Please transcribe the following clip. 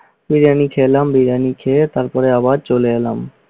বিরিয়ানি খেলাম বিরিয়ানি খেয়ে তারপরে আবার চলে এলাম।